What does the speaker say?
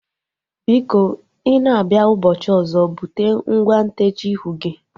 Biko i na-abịa ụbọchị ọzọ bute ngwa ntechaa ihu gị